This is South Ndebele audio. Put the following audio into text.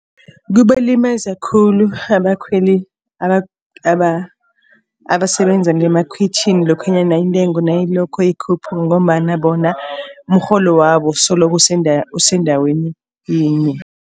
Kubalimaza khulu abakhweli abasebenza ngemakhwitjhini lokhanyana intengo nayilokhu ikhuphuka. Ngombana bona umrholo wabo solokhu usendaweni yinye.